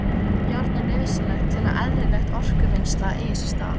Járn er nauðsynlegt til að eðlilegt orkuvinnsla eigi sér stað.